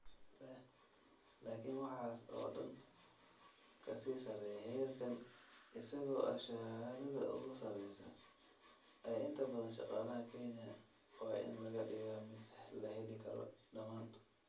Laakiin waxaas oo dhan ka sii sarreeya, heerkan, isagoo ah shahaadada ugu sarreysa ee inta badan shaqaalaha Kenya - waa in laga dhigaa mid la heli karo dhammaan.